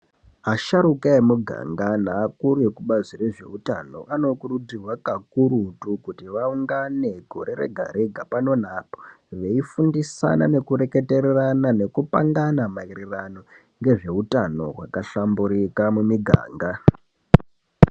Asharuka emuganga neakuru ekubazi rezveutano anokurudzirwa kakurutu kuti vaungane gore rega rega pano neapo veifundisana nekuretererana nekupangana maererana ngezveutano wakahlamburika muniganga.